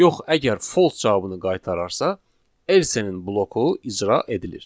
Yox, əgər false cavabını qaytararsa, else-nin bloku icra edilir.